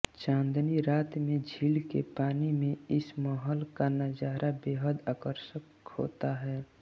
चांदनी रात में झील के पानी में इस महल का नजारा बेहद आकर्षक होता है